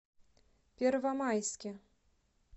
первомайске